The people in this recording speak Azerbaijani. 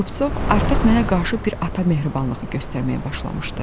Rupsov artıq mənə qarşı bir ata mehribanlığı göstərməyə başlamışdı.